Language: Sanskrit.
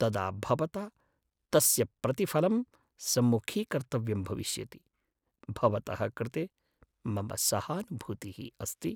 तदा भवता तस्य प्रतिफलं सम्मुखीकर्तव्यं भविष्यति। भवतः कृते मम सहानुभूतिः अस्ति।